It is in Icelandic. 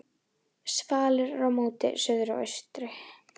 Svalir eru móti suðri og austri.